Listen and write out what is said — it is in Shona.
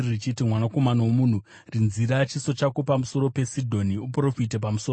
“Mwanakomana womunhu, rinzira chiso chako pamusoro peSidhoni; uprofite pamusoro paro,